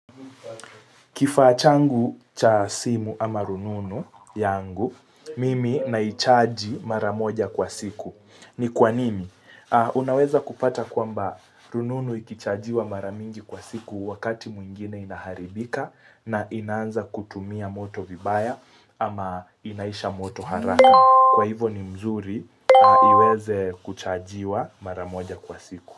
Kifachangu cha simu ama rununu yangu, mimi naichaji maramoja kwa siku. Ni kwa nini? Unaweza kupata kwamba rununu ikichajiwa maramingi kwa siku wakati mwingine inaharibika na inanza kutumia moto vibaya ama inaisha moto haraka. Kwa hivo ni mzuri iweze kuchajiwa maramoja kwa siku.